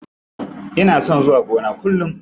Ina son zuwa gona kullum.